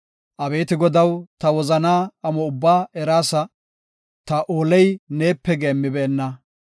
Abeeti Godaw, ta wozanaa amo ubbaa eraasa; ta ooley neepe geemmibeenna.